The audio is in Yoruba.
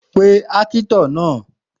Pe ákítọ̀ naa